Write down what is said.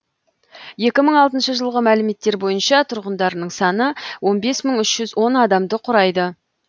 екі мың алтыншы жылғы мәліметтер бойынша тұрғындарының саны он бес мың үш жүз он адамды құрайды